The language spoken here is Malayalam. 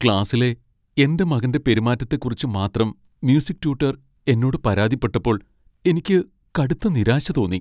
ക്ലാസിലെ എന്റെ മകന്റെ പെരുമാറ്റത്തെക്കുറിച്ച് മാത്രം മ്യൂസിക് ട്യൂട്ടർ എന്നോട് പരാതിപ്പെട്ടപ്പോൾ എനിക്ക് കടുത്ത നിരാശ തോന്നി.